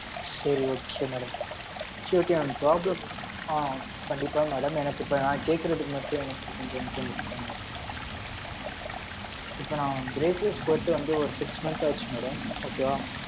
சரி, okay madam. Surity அ problem, ஆ, கண்டிப்பா madam, எனக்கு இப்ப, நான் கேக்கறதுக்கு மட்டும், எனக்கு கொஞ்சம் information சொன்னா , இப்ப நான், braces போட்டு வந்து, ஒரு six month ஆச்சு, madam. Okay வா.